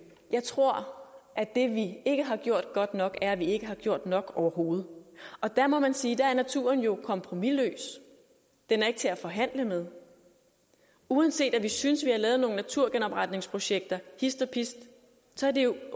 jeg tror at det vi ikke har gjort godt nok er at vi ikke har gjort nok overhovedet og der må man sige at naturen jo er kompromisløs den er ikke til at forhandle med uanset vi synes at vi har lavet nogle naturgenopretningsprojekter hist og pist så er det